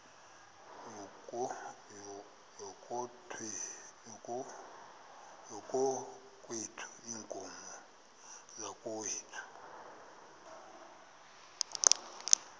yakokwethu iinkomo zakokwethu